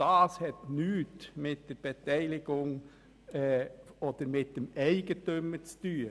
Das hat nichts mit der Beteiligung oder mit dem Eigentümer zu tun.